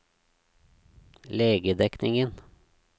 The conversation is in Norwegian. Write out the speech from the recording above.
legedekningen